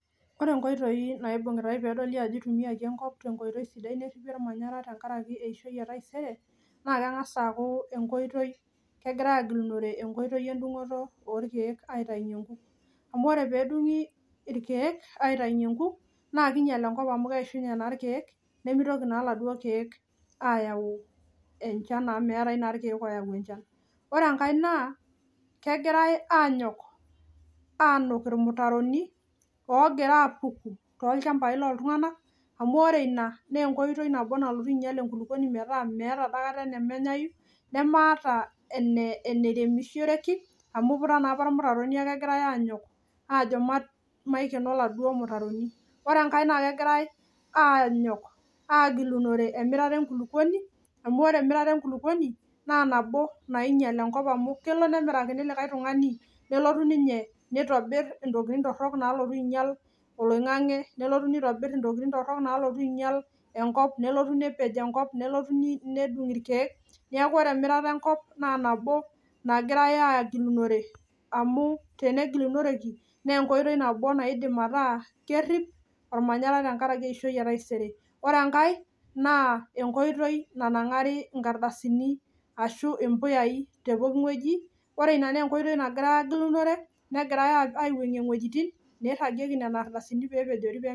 Ore nkoitoi naibung'utae peedoli ajo eitumiaki enkop enkoitoi sidai neripi olmanyara tengaraki eishoi etaisere, naa kengas aaku enkoitoi, kegirai aagilunore enkoitoi endungoto orkeek aitainye inkuk, amu ore peedung'i irkeek aitainye inkuk naa keinyal enkop amu keishunye naa irkeek nemeitoki naa eladuo irkeek aayau enchan amu meatai naa Irkeek ooyau enchan. Ore enkae naa kegira aanyok aanuk irmutaroni oogira aapuku too ilchambai loo iltungana, amu ore ina naa enkoitoi nabo nalotu ainyal enkuluponi metaa meata aikata nemeinyaiyu, nemeeta eneremiroshoreki amu eiputa naapa irmutatorini anu egirai aanyok ajo maikeno eladuo irmutaroni, ore enkae naa kegirai aanyok aagilunore emirare enkuluponi amu ore emirare enkuluponi naa nabo nainyal enkop amu kelo metimirakini likae tungani, nelotu ninye neitobir intokitin torrok naalotu ainyal oloing'ang'e, nelotu neitobir intokitin torrok naalotu ainyal enkop, nelotu nepej enkop, nelotu nedung' irke, neaku ore emirata enkop naa nabo nagirai aagilinore amuu tenegilunoreki naa enkoitoi nabo naidim ataaa kerip olmanyara tengaraki eishoi etaisere. Ore enkae naa enkoitoi nanang'ri inkardasini ashu empuyai tee pooki weji, ore ina naa enkoitoi nagirai aagilunore, negirai aiwueng'e iwejitin neiragieki nena ardasjni peepejori.